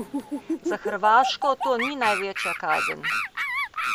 Za Hrvaško to ni največja kazen.